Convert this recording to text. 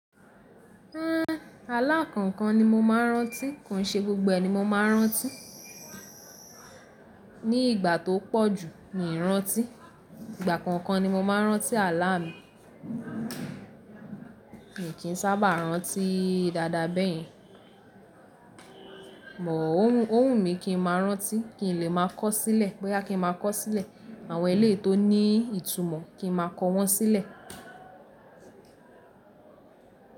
Hhen, ààlà kankan ni mo máa ń rántí, kàn ṣe gbogbo ẹ ni mo máa ń rántí. Ni ìgbà tó pọ̀ jú mi rántí, ìgbà kankan ni mo máa ń rántí ààlà mi. Èmi kì í sábà rántí dada bẹ́ẹ̀ yẹn. But òwù, owu mi kì n máa rántí, kì n lè máa kọ̀ sílẹ̀, bóyá kì n máa kọ̀ sílẹ̀, àwọn eléyi tó ní ìtumọ̀ kí n máa kọ wọ́n sílẹ̀